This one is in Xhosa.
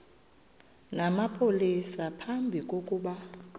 namapolisa phambi kokuba